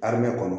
Armɛ kɔnɔ